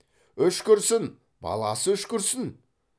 үшкірсін баласы үшкірсін